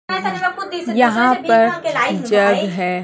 यहां पर जग है।